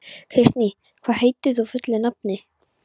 Kristný, hvað heitir þú fullu nafni?